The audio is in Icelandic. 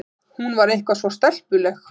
Hún var eitthvað svo stelpuleg.